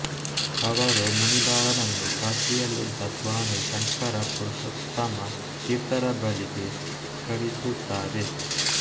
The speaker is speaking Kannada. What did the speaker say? ಅವರು ಮುನಿಲಾಲರನ್ನು ಕಾಶಿಯಲ್ಲಿದ್ದ ಸ್ವಾಮಿ ಶಂಕರ ಪುರುಷೋತ್ತಮ ತೀರ್ಥರ ಬಳಿಗೆ ಕಳಿಸುತ್ತಾರೆ